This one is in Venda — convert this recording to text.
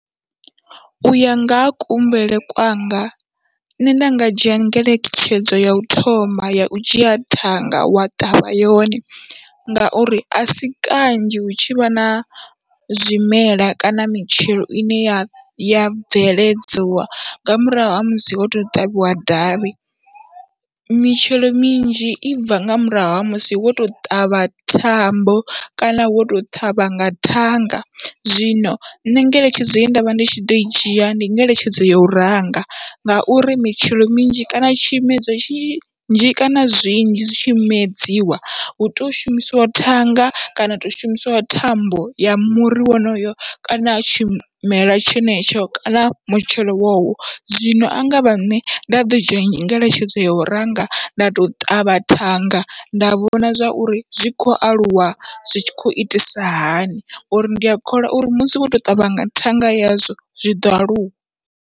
Uya nga ha kuhumbulele kwanga nṋe nda nga dzhia ngeletshedzo yau thoma yau dzhia thanga wa ṱavha yone, ngauri asi kanzhi hu tshivha na zwimela kana mitshelo ine ya ya bveledziwa nga murahu ha musi ho ṱavhiwa davhi, mitshelo minzhi i bva nga murahu ha musi wo to ṱavha thambo kana wo to ṱhavha nga thanga, zwino nṋe ngeletshedzo ye ndavha ndi tshi ḓoi dzhia ndi ngeletshedzo yau ranga, ngauri mitshelo minzhi kana tshimedzwa tshinnzhi kana zwinzhi zwi tshimedziwa hu tea u shumisiwa thanga kana ha to shumisiwa thambo ya muri wonoyo kana tshimelwa tshenetsho kana mutshelo wowo. Zwino angavha nṋe nda ḓo dzhia ngeletshedzo yau ranga nda to ṱavha thanga nda vhona zwa uri zwi khou aluwa zwi tshi khou itisa hani, ngauri ndi a kholwa uri musi wo to ṱavha nga thanga yazwo zwiḓo aluwa.